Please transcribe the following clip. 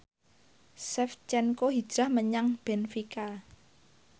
Shevchenko hijrah menyang benfica